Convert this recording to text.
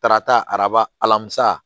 Karata arabasa